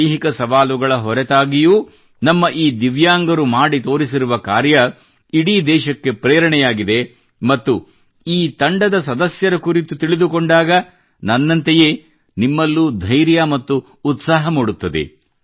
ದೈಹಿಕ ಸವಾಲುಗಳ ಹೊರತಾಗಿಯೂ ನಮ್ಮ ಈ ದಿವ್ಯಾಂಗರು ಮಾಡಿ ತೋರಿಸಿರುವ ಕಾರ್ಯವು ಇಡೀ ದೇಶಕ್ಕೆ ಪ್ರೇರಣೆಯಾಗಿದೆ ಮತ್ತು ಈ ತಂಡದ ಸದಸ್ಯರ ಕುರಿತು ತಿಳಿದುಕೊಂಡಾಗ ನನ್ನಂತೆಯೇ ನಿಮ್ಮಲ್ಲೂ ಧೈರ್ಯ ಮತ್ತು ಉತ್ಸಾಹ ಮೂಡುತ್ತದೆ